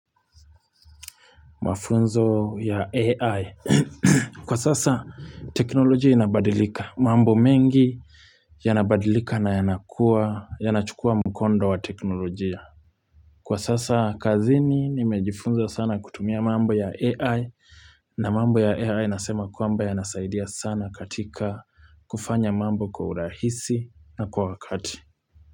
Mafunzo ya AI. Kwa sasa teknolojia inabadilika. Mambo mengi yanabadilika na yanakuwa, yanachukua mkondo wa teknolojia. Kwa sasa kazini nimejifunza sana kutumia mambo ya AI na mambo ya AI nasema kwamba yanasaidia sana katika kufanya mambo kwa urahisi na kwa wakati.